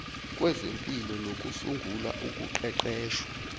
kwezempi nokusungulwa ukuqeqeshwa